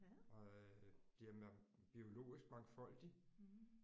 Og bliver biologisk mangfoldig